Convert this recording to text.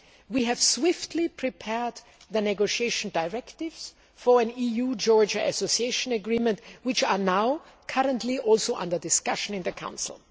well. We have swiftly prepared the negotiation directives for an EU Georgia association agreement, which are now currently under discussion in the Council.